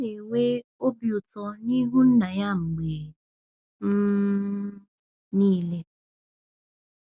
Ọ na-enwe obi ụtọ n’ihu Nna ya mgbe um niile.